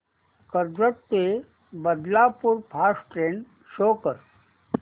कर्जत ते Badlapur fast train show कर